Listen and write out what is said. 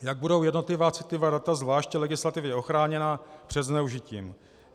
Jak budou jednotlivá citlivá data zvlášť legislativně ochráněna před zneužitím?